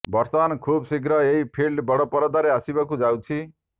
ବର୍ତ୍ତମାନ ଖୁବ୍ ଶୀଘ୍ର ଏହି ଫିଲ୍ମ ବଡ ପରଦାରେ ଆସିବାକୁ ଯାଉଛି